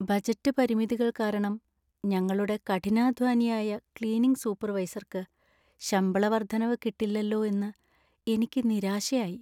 Budget പരിമിതികൾ കാരണം ഞങ്ങളുടെ കഠിനാധ്വാനിയായ ക്ലീനിംഗ് സൂപ്പർവൈസർക്ക് ശമ്പള വർദ്ധനവ് കിട്ടില്ലല്ലോ എന്ന് എനിക്ക് നിരാശയായി.